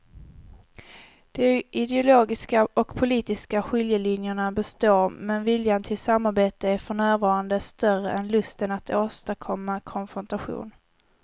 De ideologiska och politiska skiljelinjerna består men viljan till samarbete är för närvarande större än lusten att åstadkomma konfrontation.